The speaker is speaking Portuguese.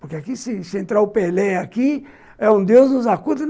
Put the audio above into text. Porque aqui se se entrar o Pelé aqui, é um deus dos acuda.